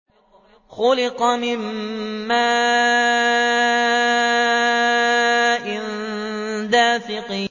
خُلِقَ مِن مَّاءٍ دَافِقٍ